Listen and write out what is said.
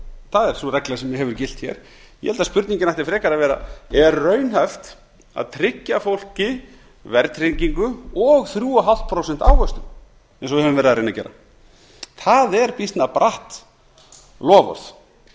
það er sú regla sem hefur gilt hér ég held að spurningin ætti frekar að vera er raunhæft að tryggja fólki verðtryggingu og þrjú og hálft prósent ávöxtun eins og við höfum verið að reyna að gera